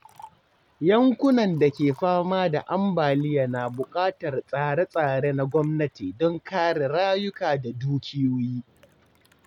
Yankunan da ke fama da ambaliya na bukatar tsare-tsare na gwamnati don kare rayuka da dukiyoyi.